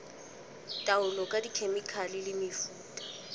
taolo ka dikhemikhale le mefuta